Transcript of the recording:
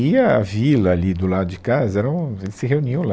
E a vila ali do lado de casa, era um, eles se reuniam lá.